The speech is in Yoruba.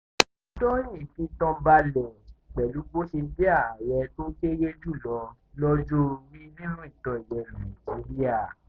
fìtàn balẹ̀ pẹ̀lú bó ṣe jẹ́ ààrẹ tó kéré jù lọ lọ́jọ́ orí nínú ìtàn ilẹ̀ nàìjíríà